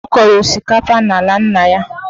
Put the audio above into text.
Ọ kọrọ osikapa n'ala nna ya.